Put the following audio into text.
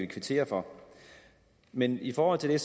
kvittere for men i forhold til det